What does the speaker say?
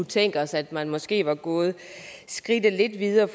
tænkt os at man måske var gået skridtet lidt videre